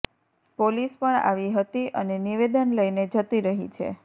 police પણ આવી હતી અને નિવેદન લઈને જતી રહી છે